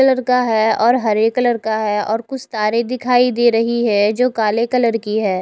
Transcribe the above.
Colour का है हरे कलर का है और कुछ कारे दिखाई दे रही है जो काले कलर की है।